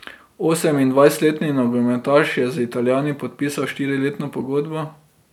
Osemindvajsetletni nogometaš je z Italijani podpisal štiriletno pogodbo.